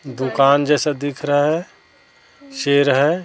दुकान जैसा दिख रहा है शेर है।